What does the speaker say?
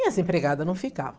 E as empregadas não ficavam.